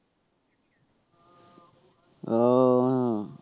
ও হ্যাঁ